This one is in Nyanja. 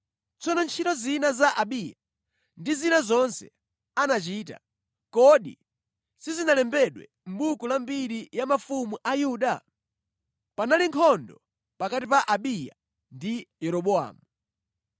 Tsono ntchito zina za Abiya, ndi zina zonse anachita, kodi sizinalembedwe mʼbuku la mbiri ya mafumu a Yuda? Panali nkhondo pakati pa Abiya ndi Yeroboamu.